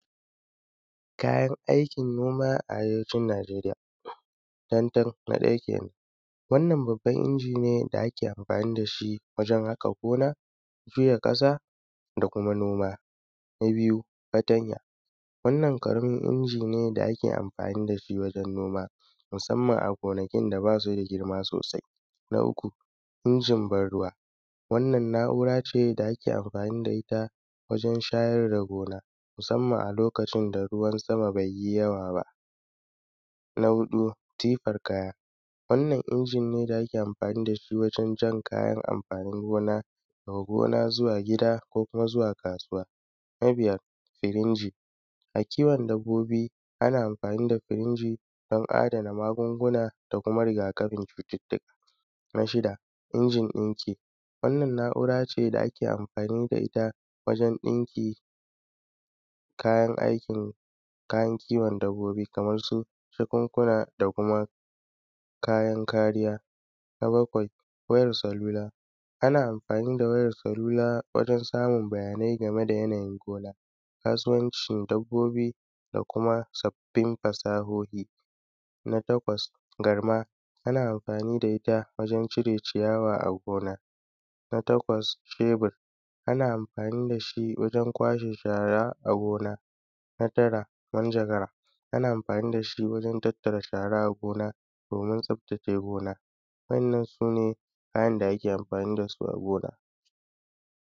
kayan aikin noma a arewacin najeriya tantan na ɗaya kenan wannan babban injin ne da ake amfani da shi wajen haƙa gona janye ƙasa da kuma noma, na biyu, fatanya wannan ƙaramin inji ne da ake amfani da shi wajen noma musamman a gonakin da bas u da girma sosai, na uku, injin ban ruwa, wannan na`ura ce da ake amfani da ita wajen shayar da gona musamman a lokacin da ruwan sama bai yi yawa ba, na huɗu, tifar kaya wannan injin ne da ake amfani da shi wajen jan kayan amfanin gona daga gona zuwa gida ko kuma zuwa kasuwa, na biyar, firinji a kiwon dabbobi ana amfani da firinji don adana magunguna da kuma riga kafin cututtuka, na shida, injin ɗinki wannan na`ura ce da kae amfani ita wajen ɗinkin kayan aiki, kayan kiwon dabbobi kamar su jakunkuna da kuma kayan kariya, na bakwai, wayar salula ana amfani da wayar salula wajen samun bayanai game da yanayin gona,, kasuwancin dabbobi da kuma sabbin fasahohi, na takwas, garma ana amfani da da ita wajen cire ciyawa a gona, na takwas cebir ana amfani da shi wajen kwashe shara a gona, na tara, manjagara ana amfani da shi wajen tattara shara a gona domin tsaftace gona wa`yannan sune kayan da ake amfani da su a gona.